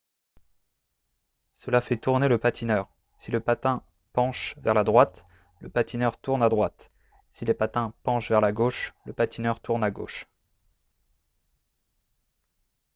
cela fait tourner le patineur si les patins penchent vers la droite le patineur tourne à droite si les patins penchent vers la gauche le patineur tourne à gauche